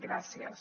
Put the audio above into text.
gràcies